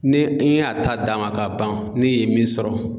Ni n y'a ta dama ka ban ni ye min sɔrɔ